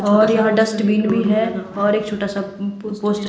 और यहाँ डस्टबीन भी है और एक छोटा सा पोस्ट --